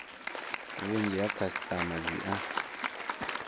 vhunzhi ha khasitama dzi a